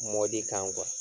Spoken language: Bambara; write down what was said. Mɔdi kan